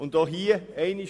Auch hier gilt: